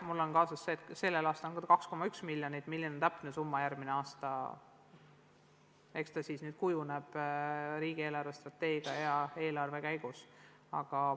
Mul on kaasas see arv, et sellel aastal on ta 2,1 miljonit, eks järgmise aasta täpne summa kujuneb riigi eelarvestrateegia ja eelarve menetlemise käigus.